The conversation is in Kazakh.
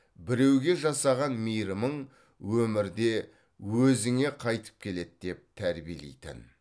біреуге жасаған мейірімің өмірде өзіңе қайтып келеді деп тәрбиелейтін